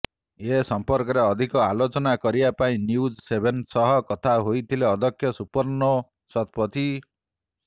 ଏ ସଂପର୍କରେ ଅଧିକ ଆଲୋଚନା କରିବା ପାଇଁ ନ୍ୟୁଜ୍ ସେଭେନ ସହ କଥା ହୋଇଥିଲେ ଅଧ୍ୟକ୍ଷ ସୁପର୍ଣ୍ଣୋ ଶତପଥୀ